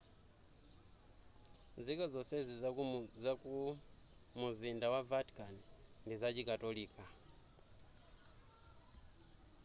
nzika nzonse zaku mumzinda wa vatican ndi zachikatolika